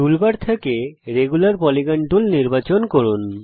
toolbar থেকে regular polygon tool নির্বাচন করুন